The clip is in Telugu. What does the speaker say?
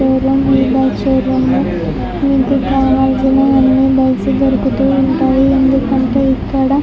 ఈ షోరూం లో మనకి కావాల్సిన అన్నీ బైక్ లు దొరుకుతూ ఉంటాయి ఎందుకంటే ఇక్కడ --